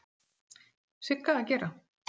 Sigga að gera?